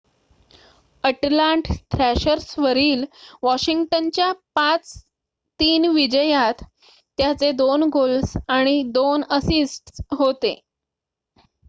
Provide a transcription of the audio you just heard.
अटलांट थ्रॅशर्सवरील वॉशिंग्टनच्या 5-3 विजयात त्याचे 2 गोल्स आणि 2 असिस्ट्स होते